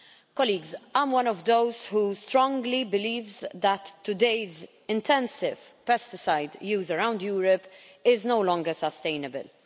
Colleagues, I am one of those who strongly believes that today's intensive pesticide use around Europe is no longer sustainable.